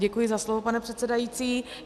Děkuji za slovo, pane předsedající.